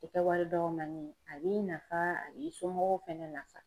tɛ kɛ wari dɔgɔmani ye a b'i nafa a b'i somɔgɔw fɛnɛ nafa.